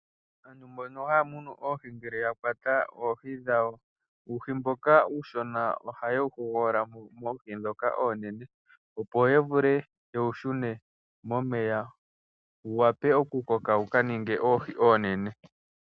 Aantu mbono haya munu oohi, ngele yakwata oohi dhawo uuhi mboka uushona ohaye wu hogololamo moohi ndhoka oonene opo yavule yewu shune momeya , wuwape okukoka wuka ninge oohi oonene.